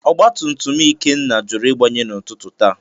Ọgba tum tum Ikenna jụrụ Ịgbanye n’ụtụtụ taa.